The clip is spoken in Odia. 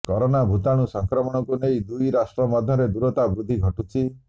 କରୋନା ଭୂତାଣୁ ସଂକ୍ରମଣକୁ ନେଇ ଦୁଇ ରାଷ୍ଟ୍ର ମଧ୍ୟରେ ଦୂରତା ବୃଦ୍ଧି ଘଟୁଛି